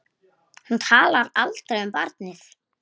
Hún talar aldrei um barnið.